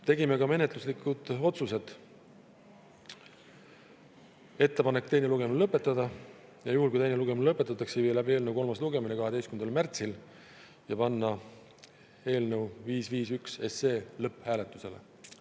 Tegime ka menetluslikud otsused: ettepaneku teine lugemine lõpetada ning juhul kui teine lugemine lõpetatakse, viia läbi eelnõu kolmas lugemine 12. märtsil ja panna 551 SE lõpphääletusele.